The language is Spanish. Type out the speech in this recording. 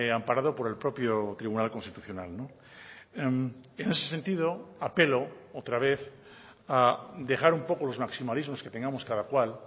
amparado por el propio tribunal constitucional en ese sentido apelo otra vez a dejar un poco los maximalismos que tengamos cada cual